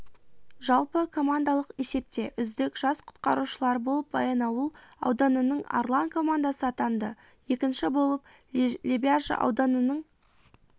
жалпы командалық есепте үздік жас құтқарушылар болып баянауыл ауданының арлан командасы атанды екінші болып лебяжі ауданының